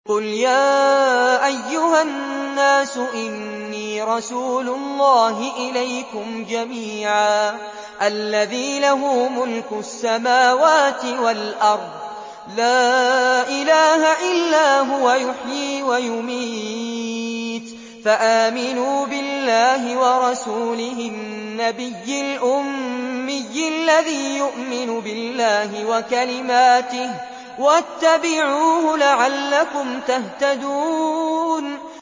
قُلْ يَا أَيُّهَا النَّاسُ إِنِّي رَسُولُ اللَّهِ إِلَيْكُمْ جَمِيعًا الَّذِي لَهُ مُلْكُ السَّمَاوَاتِ وَالْأَرْضِ ۖ لَا إِلَٰهَ إِلَّا هُوَ يُحْيِي وَيُمِيتُ ۖ فَآمِنُوا بِاللَّهِ وَرَسُولِهِ النَّبِيِّ الْأُمِّيِّ الَّذِي يُؤْمِنُ بِاللَّهِ وَكَلِمَاتِهِ وَاتَّبِعُوهُ لَعَلَّكُمْ تَهْتَدُونَ